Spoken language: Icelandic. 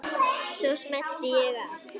Svo smelli ég af.